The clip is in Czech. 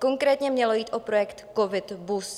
Konkrétně mělo jít o projekt COVID - BUS.